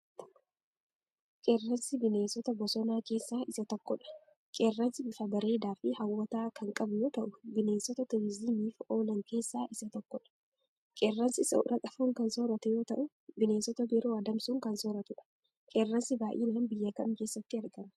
Qeerransi bineensota bosonaa keessa isa tokkodha. Qeerransi bifa bareedaa fi haawwwataa kan qabu yoo ta'u, bineensota turizimiif oolan keessaa isa tokkodha. Qeerransi soorata foon kan sooratu yoo ta'u, bineensota biroo adamsuun kan soorratudha. Qeerransi baay'inaan biyya kanm keessatti argama.